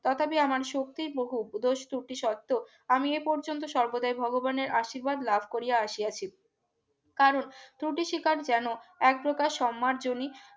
তথাপি আমার শক্তির বহুব এবং স্তুতি শর্ত আমি এই পর্যন্ত সর্বদাই ভগবানের আশীর্বাদ লাভ করিয়া আসিয়াছি কারণ দুটি ত্রুটি স্বীকার যেন এক প্রকার সমারজনী